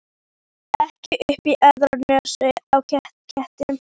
Ekki upp í aðra nösina á ketti.